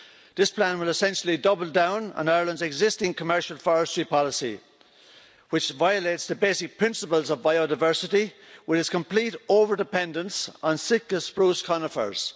This plan will essentially double down on Ireland's existing commercial forestry policy, which violates the basic principles of biodiversity, with its complete over dependence on Sitka spruce conifers.